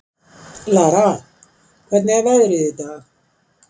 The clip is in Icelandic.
Lara, hvernig er veðrið í dag?